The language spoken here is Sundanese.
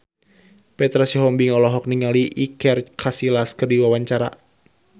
Petra Sihombing olohok ningali Iker Casillas keur diwawancara